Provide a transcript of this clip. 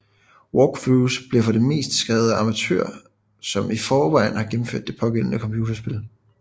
Walkthroughs bliver for det meste skrevet af amatører som i forvejen har gennemført det pågældende computerspil